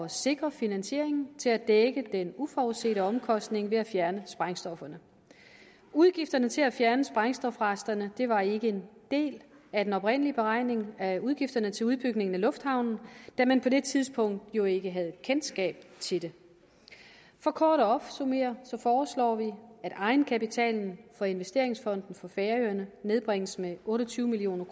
sikre finansieringen til at dække den uforudsete omkostning ved at fjerne sprængstofferne udgifterne til at fjerne sprængstofresterne var ikke en del af den oprindelige beregning af udgifterne til udbygningen af lufthavnen da man på det tidspunkt jo ikke havde kendskab til det for kort at opsummere foreslår vi at egenkapitalen for investeringsfonden for færøerne nedbringes med otte og tyve million